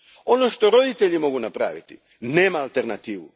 Ono što roditelji mogu napraviti, nema alternativu.